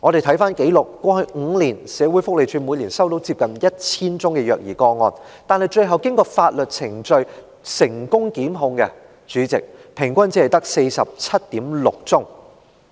翻查紀錄，過去5年，社會福利署每年接獲接近 1,000 宗虐兒個案舉報，但最後經過法律程序成功檢控的個案，主席，平均只有 47.6 宗。